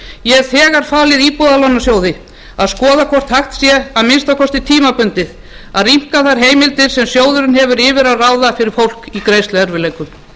ég hef þegar falið íbúðalánasjóði að skoða hvort hægt sé að minnsta kosti tímabundið að rýmka þær heimildir sem sjóðurinn hefur yfir að ráða fyrir fólk í greiðsluerfiðleikum